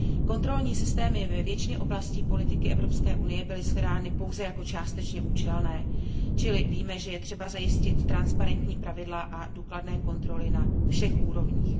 Kontrolní systémy ve většině oblastí politiky Evropské unie byly shledány pouze jako částečně účelné, čili víme, že je třeba zajistit transparentní pravidla a důkladné kontroly na všech úrovních.